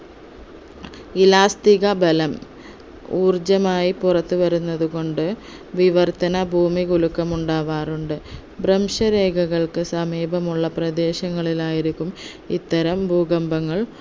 ഇലാസ്റ്റിക ബലം ഊർജ്ജമായി പുറത്ത് വരുന്നത്ത് കൊണ്ട് വിവർത്തന ഭൂമികുലുക്കം ഉണ്ടാവാറുണ്ട് ഭ്രംശരേഖകൾക്ക് സമീപമുള്ള പ്രദേശങ്ങളിലായിരിക്കും ഇത്തരം ഭൂകമ്പങ്ങൾ